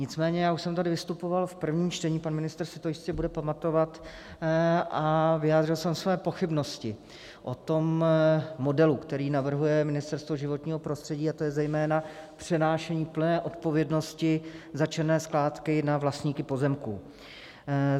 Nicméně já už jsem tady vystupoval v prvním čtení, pan ministr si to jistě bude pamatovat, a vyjádřil jsem své pochybnosti o tom modelu, který navrhuje Ministerstvo životního prostředí, a to je zejména přenášení plné odpovědnosti za černé skládky na vlastníky pozemků.